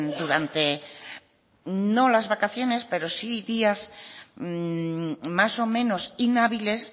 durante no las vacaciones pero sí días más o menos inhábiles